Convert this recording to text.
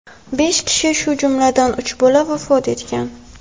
Besh kishi, shu jumladan uch bola vafot etgan.